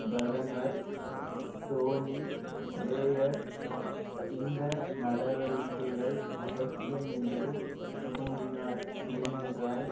பிரதமர் Tony Blair இந்த நடவடிக்கைகள் அவசியமென்று கூறினார் ஏனென்றால்